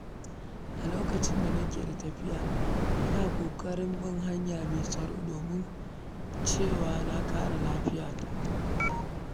A lokacin da nake da tafiya, ina kokarin bin hanya me tsaro domin cewa na kare lafiyata.